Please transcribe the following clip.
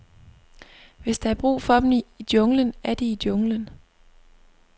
Hvis der er brug for dem i junglen, er de i junglen.